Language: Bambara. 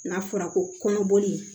N'a fɔra ko kɔnɔboli